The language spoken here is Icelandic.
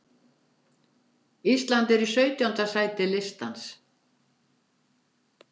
Ísland er svo í sautjánda sæti listans.